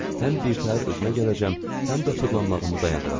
Həm birtəhər özümə gələcəm, həm də fırlanmağımı dayandıracam.